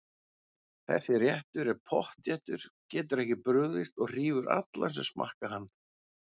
Þessi réttur er pottþéttur, getur ekki brugðist og hrífur alla sem smakka hann.